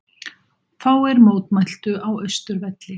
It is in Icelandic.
Fáir mótmæltu á Austurvelli